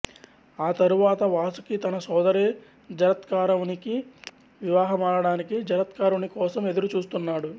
ఆ తరువాత వాసుకి తన సోదరి జరత్కారువుని వివాహమాడటానికి జరత్కారుని కోసం ఎదురు చూస్తున్నాడు